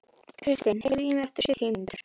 Kristin, heyrðu í mér eftir sjötíu mínútur.